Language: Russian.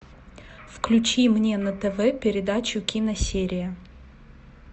включи мне на тв передачу киносерия